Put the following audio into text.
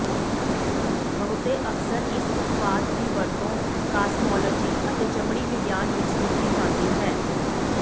ਬਹੁਤੇ ਅਕਸਰ ਇਸ ਉਤਪਾਦ ਦੀ ਵਰਤੋਂ ਕਾਸਮੌਲੋਜੀ ਅਤੇ ਚਮੜੀ ਵਿਗਿਆਨ ਵਿੱਚ ਕੀਤੀ ਜਾਂਦੀ ਹੈ